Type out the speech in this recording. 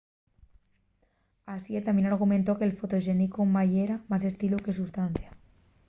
hsieh tamién argumentó que’l fotoxénicu ma yera más estilu que sustancia